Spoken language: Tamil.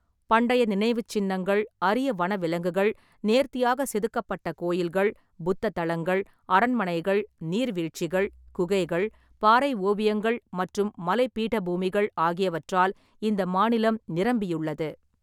பண்டைய நினைவுச்சின்னங்கள், அரிய வனவிலங்குகள், நேர்த்தியாக செதுக்கப்பட்ட கோயில்கள், புத்த தளங்கள், அரண்மனைகள், நீர்வீழ்ச்சிகள், குகைகள், பாறை ஓவியங்கள் மற்றும் மலை பீடபூமிகள் ஆகியவற்றால் இந்த மாநிலம் நிரம்பியுள்ளது.